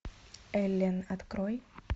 эллен открой